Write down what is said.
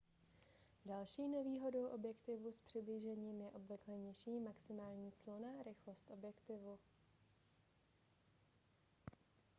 další nevýhodou objektivů s přiblížením je obvykle nižší maximální clona rychlost objektivu